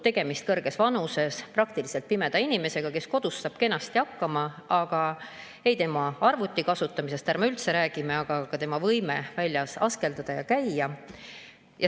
Tegemist on kõrges vanuses, praktiliselt pimeda inimesega, kes kodus saab kenasti hakkama, aga tema arvutikasutamisest ärme üldse räägime ega ka tema võimest väljas askeldada ja käia.